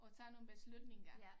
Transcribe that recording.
Og tage nogle beslutninger